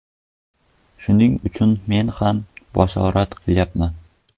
Shuning uchun men ham bashorat qilmayman.